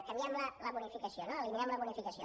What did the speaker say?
canviem la bonificació no eliminem la bonificació